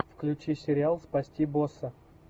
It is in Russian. включи сериал спасти босса